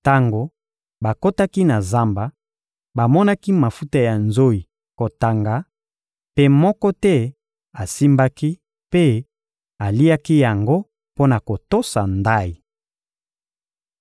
Tango bakotaki na zamba, bamonaki mafuta ya nzoyi kotanga, mpe moko te asimbaki mpe aliaki yango mpo na kotosa ndayi.